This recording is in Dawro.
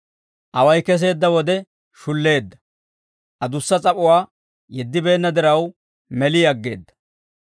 Away keseedda wode shulleedda; adussa s'ap'uwaa yeddibeenna diraw, meli aggeedda.